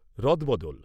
রদবদল